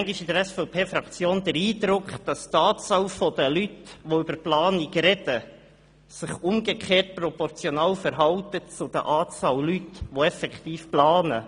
In der SVP-Fraktion haben wir manchmal den Eindruck, dass sich die Anzahl der Leute, die über Planung sprechen, umgekehrt proportional zur Anzahl Leute verhält, die tatsächlich planen.